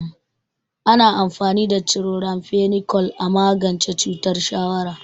Ana amfani da chloramphenicol a magance cutar shawara.